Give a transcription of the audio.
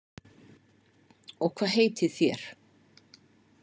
Og hvað heitið þér?